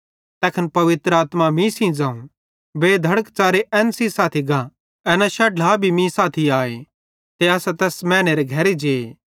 तैखन पवित्र आत्मा मीं सेइं ज़ोवं बेधड़क च़ारे एन सेइं साथी गा एना 6 ढ्ला भी मीं सेइं साथी आए ते असां तैस मैनेरे घरे जे